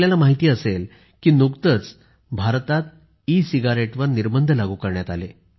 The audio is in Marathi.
आपणास माहिती असेल की नुकतेच भारतात ई सिगारेटवर निर्बंध लागू करण्यात आले